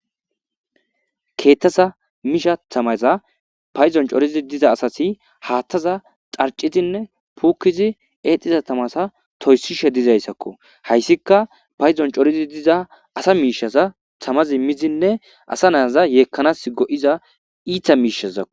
Kethaza mishaza tamaza paydon coridi diza asazi hathaza dharcidinne pukidi exishe diza tamaza toysishe dizaysako haysika paydon coridi diza asa mishaza tamaza midinne asazi yekana mala go'iza it's mishazako